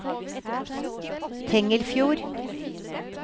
Tengelfjord